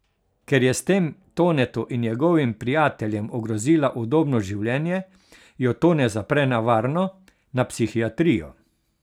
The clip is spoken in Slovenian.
Ker je s tem Tonetu in njegovim prijateljem ogrozila udobno življenje, jo Tone zapre na varno, na psihiatrijo.